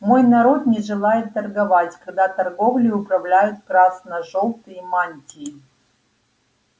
мой народ не желает торговать когда торговлей управляют красно-желтые мантии